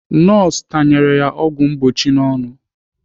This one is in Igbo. Nọọsụ tanyere ya ọgwụ mgbochi n'ọnụ.